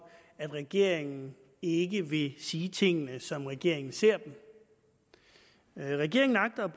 at regeringen ikke vil sige tingene som regeringen ser dem regeringen agter at